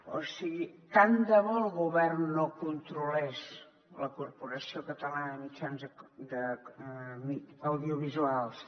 o sigui tant de bo el govern no controlés la corporació catalana de mitjans audiovisuals